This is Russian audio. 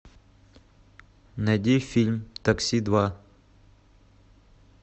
найди фильм такси два